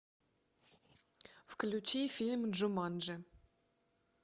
включи фильм джуманджи